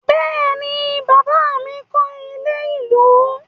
Bẹ́ẹ̀ ni, bàbá mi kọ́ ilé-ìlú.